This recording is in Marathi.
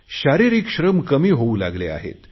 शारिरीक श्रम कमी होऊ लागले आहेत